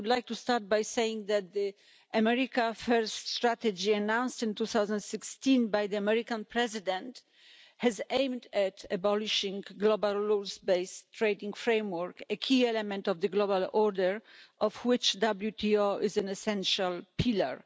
I would like to start by saying that the America First' strategy, announced in 2016 by the American President has aimed at abolishing the global rules based trading framework, a key element of the global order of which WTO is an essential pillar.